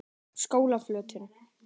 Skólaflötum